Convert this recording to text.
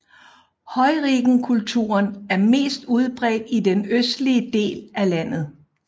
Heurigenkulturen er mest udbredt i den østlige del af landet